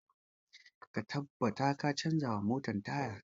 Ka tabbata ka canza wa motan taya!